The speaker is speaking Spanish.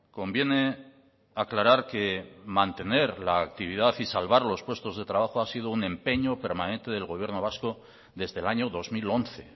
conviene aclarar que mantener la actividad y salvar los puestos de trabajo ha sido un empeño permanente del gobierno vasco desde el año dos mil once